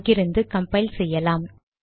அங்கிருந்து கம்பைல் செய்யலாம்